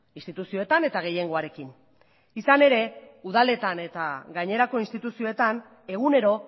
instituzioetan eta gehiengoarekin izan ere udaletan eta gainerako instituzioetan egunero